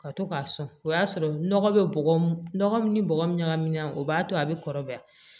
Ka to k'a sɔn o y'a sɔrɔ nɔgɔ bɛ bɔgɔ nɔgɔ min ni bɔgɔ min ɲagaminan o b'a to a bɛ kɔrɔbaya